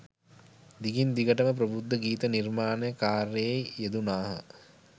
දිගින් දිගටම ප්‍රබුද්ධ ගීත නිර්මාණ කාර්යයේ යෙදුනාහ